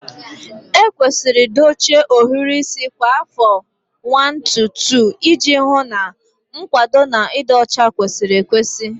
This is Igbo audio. Ekwesịrị dochie ohiri isi kwa afọ 1-2 iji hụ na nkwado na ịdị ọcha kwesịrị ekwesị